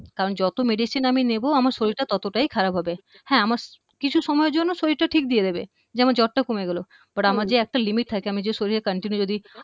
কারণ যত medicine আমি নেবো আমার শরীরটা ততটাই খারাপ হবে হ্যা আমার কিছু সময়ের জন্য শরীরটা ঠিক দিয়ে দিবে যেমন জ্বরটা কমে গেল হম but আমার যে একটা limit থাকে আমি যে শরীরে continue যদি